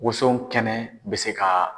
Woso kɛnɛ bɛ se ka